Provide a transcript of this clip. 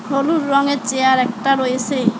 হলুদ রঙের চেয়ার একটা রয়েসে।